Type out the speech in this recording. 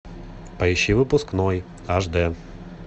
поищи выпускной аш д